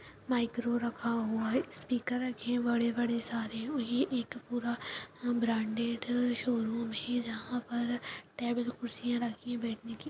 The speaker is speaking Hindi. माइक्रो रखा हुआ है स्पीकर रखे हैं बड़े-बड़े सारे वही एक पुरा ब्रांडेड शोरूम है जहाँ पर टेबल कुर्सियां रखी बेठने की।